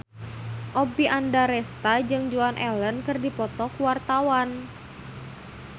Oppie Andaresta jeung Joan Allen keur dipoto ku wartawan